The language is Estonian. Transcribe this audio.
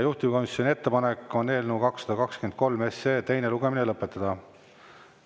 Juhtivkomisjoni ettepanek on eelnõu 223 teine lugemine lõpetada.